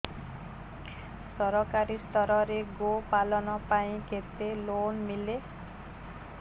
ସରକାରୀ ସ୍ତରରେ ଗୋ ପାଳନ ପାଇଁ କେତେ ଲୋନ୍ ମିଳେ